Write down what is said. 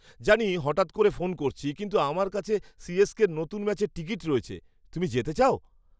জানি হঠাৎ করে ফোন করছি, কিন্তু আমার কাছে সি.এস.কের নতুন ম্যাচের টিকিট রয়েছে। তুমি যেতে চাও?